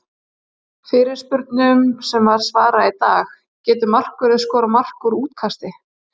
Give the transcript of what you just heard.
Fyrirspurnum sem var svarað í dag:- Getur markvörður skorað mark úr útkasti?